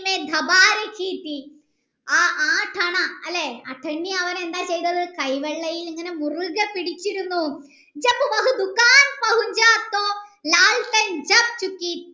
ആ അണ ചെയ്തത് കൈ വെള്ളയിൽ ഇങ്ങനെ മുറുകെ പിടിച്ചിരുന്നു